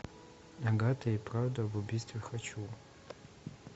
агата и правда об убийстве хочу